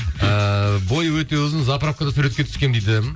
ыыы бойы өте ұзын заправкада суретке түскенмін дейді